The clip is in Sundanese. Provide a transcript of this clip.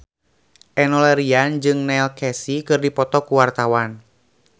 Enno Lerian jeung Neil Casey keur dipoto ku wartawan